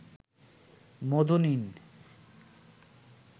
মধু নিন